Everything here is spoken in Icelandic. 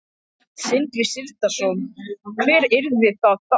Sindri Sindrason: Hvert yrði það þá?